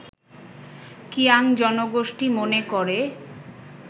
কিয়াং জনগোষ্ঠী মনে করে